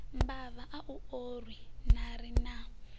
mbava a u orwi narina